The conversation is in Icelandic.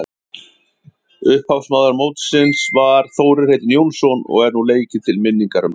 Upphafsmaður mótsins var Þórir heitinn Jónsson og er nú leikið til minningar um hann.